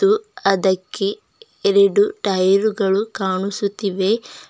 ತ್ತು ಅದಕ್ಕೆ ಎರಡು ಟೈಯರ್ ಗಳು ಕಾಣುಸುತ್ತಿವೆ.